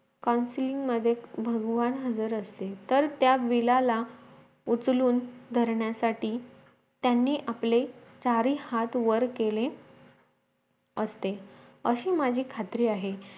मध्ये भगवान हजर असते तर त्या विल्लाला उचलून धरण्यासाठी त्यांनी आपले सारे हाथ वर केले असते अशी माझी खात्री आहे